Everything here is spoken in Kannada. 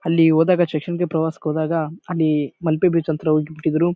ಅಲ್ಲಿ ಹೋದಾಗ ಶೈಕ್ಷಣಿಕ ಪ್ರವಾಸಾಕ್ ಹೋದಾಗ ಅಲ್ಲಿ ಮಲ್ಪೆ ಬೀಚ್ ಹಂತ್ರ ಹೋಗಿಬಿಟ್ಟಿದ್ರು .